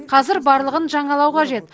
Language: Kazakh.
қазір барлығын жаңалау қажет